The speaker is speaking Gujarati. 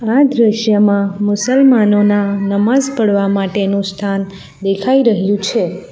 આ દ્રશ્યમાં મુસલમાનોના નમાઝ પડવા માટેનું સ્થાન દેખાઈ રહ્યું છે.